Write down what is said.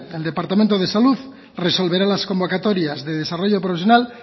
el departamento de salud resolverá las convocatorias de desarrollo profesional